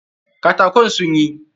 Katakin sun yi?